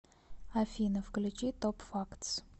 афина включи топ фактс